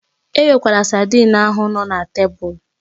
Ewekwala saidin ahụ nọ na tebụl